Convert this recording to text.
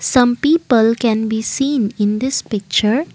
some people can be seen in this picture.